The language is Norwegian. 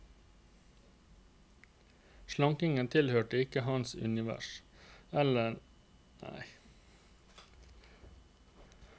Slankingen tilhørte ikke hans univers, eller i det minste var det ikke noe voksne menn skulle se seg nødt til å drive med.